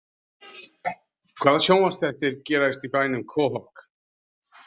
Hvaða sjónvarpsþættir gerast í bænum Quahog?